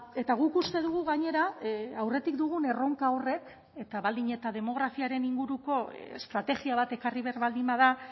eta guk uste dugu gainera aurretik dugun erronka horrek eta baldin eta demografiaren inguruko estrategia bat ekarri behar baldin bada